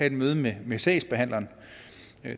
et møde med med sagsbehandleren